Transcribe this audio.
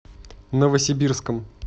новосибирском